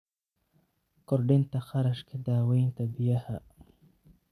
Kordhinta kharashka daaweynta biyaha.